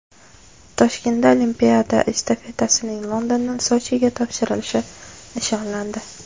Toshkentda olimpiada estafetasining Londondan Sochiga topshirilishi nishonlandi.